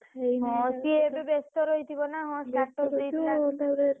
ହଁ ସିଏ ଏବେ ବେସ୍ତ ରହିଥିବ ହଁ ନା ।